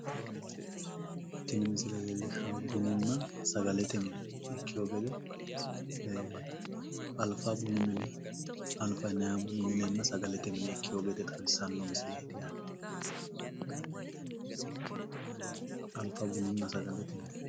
Tini misile leellishaahu bununna sagalete mine ikkewo gede, Alfa bunu mine alfa yinayiiha bununna sagalete mine ikkewo gede xawissanno mineeti.